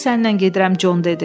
Mən də səninlə gedirəm, Con dedi.